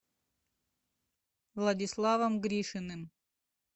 владиславом гришиным